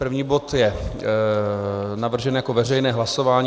První bod je navržen jako veřejné hlasování.